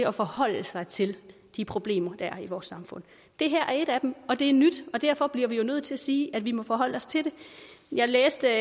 at forholde sig til de problemer der er i vores samfund det her er et af dem og det er nyt og derfor bliver vi jo nødt til at sige at vi må forholde os til det jeg læste